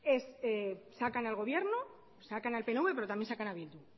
sacan al gobierno sacan al pnv pero también sacan a bildu